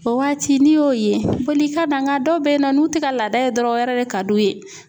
O waati n'i y'o ye boli i ka na nka dɔw bɛ ye nɔ n'u tɛ ka laada ye dɔrɔn o yɛrɛ de ka d'u ye.